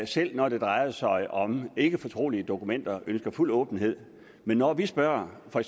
selv når det drejer sig om ikkefortrolige dokumenter ønsker fuld åbenhed men når vi spørger for